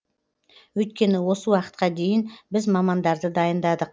өйткені осы уақытқа дейін біз мамандарды дайындадық